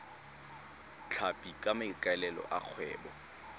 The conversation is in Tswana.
tlhapi ka maikaelelo a kgwebo